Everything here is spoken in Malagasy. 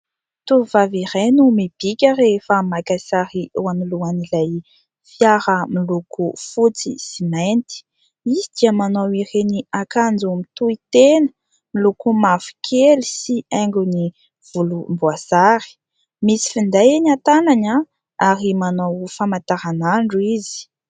Tovovavy iray no mibika rehefa maka sary eo anoloan'ilay fiara miloko fotsy sy mainty. Izy dia manao ireny akanjo mitohitena miloko mavokely sy haingony volomboasary. Misy finday eny an-tanany ary manao famataranandro izy.